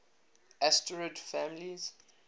asterid families